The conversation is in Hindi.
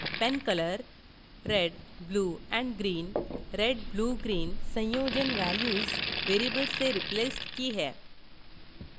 pencolor $red $blue और $green redbluegreen संयोजन values variables से replaced की हैं